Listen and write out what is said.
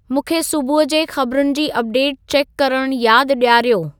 मूंखे सुबुहु जे ख़बरुनि जी अपडेट चेकु करणु यादि ॾियारियो